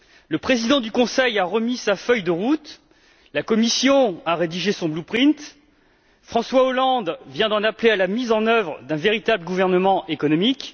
Le Président du Conseil a remis sa feuille de route, la Commission a rédigé son François Hollande vient d'en appeler à la mise en œuvre d'un véritable gouvernement économique.